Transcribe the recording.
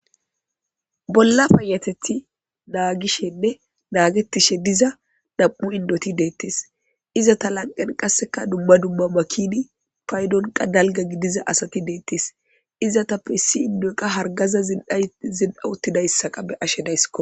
bolla payateti naagishenne naagettishe diza nam7u indoti deettes izata lanqen qasseka dumma dumma makini paydonqa dalga gidiza asati deettes izatappe issi indoqa hargaza dzil7a uttidayssa qa be ashe dayskko